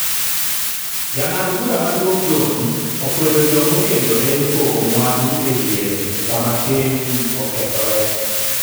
Jang'ad bura maduong' John okwedo jomokendore pogo mwandu e diere esama keny okethore